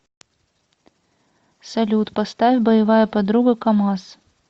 салют поставь боевая подруга камаз